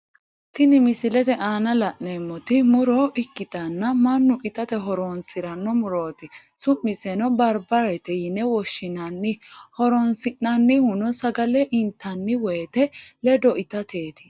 Tini misilete aanna la'neemoti muro ikitanna Manu itate horoonsirano murooti su'miseno barbareete yine woshinnanni horoonsi'nannihuno sagale intanni woyete ledo itateeti.